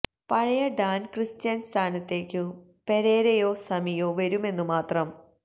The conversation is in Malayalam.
പഴയ ഡാന് ക്രിസ്റ്റ്യന്റെ സ്ഥാനത്തേക്കു പെരേരയോ സമിയോ വരുമെന്നു മാത്രം